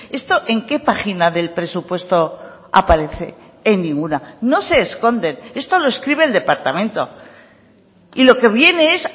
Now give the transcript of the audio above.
esto en qué página del presupuesto aparece en ninguna no se esconde esto lo escribe el departamento y lo que viene es